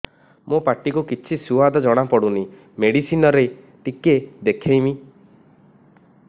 ମୋ ପାଟି କୁ କିଛି ସୁଆଦ ଜଣାପଡ଼ୁନି ମେଡିସିନ ରେ ଟିକେ ଦେଖେଇମି